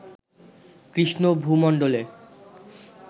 Krishna ভূমণ্ডলে